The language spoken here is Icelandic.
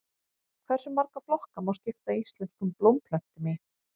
Hversu marga flokka má skipta íslenskum blómplöntum í?